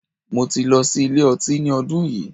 Mo ti lọ sí ilé ọtí ní ọdún yìí.